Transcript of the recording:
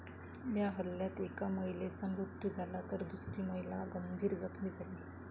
या हल्ल्यात एका महिलेचा मृत्यू झाला तर दुसरी महिला गंभीर जखमी झाली.